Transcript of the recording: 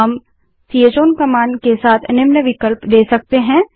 हम chown command के साथ निम्न विकल्प दे सकते हैं